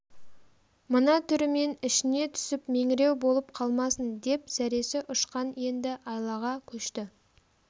мына түрімен ішіне түсіп меңіреу болып қалмасын деп зәресі ұшқан енді айлаға көшті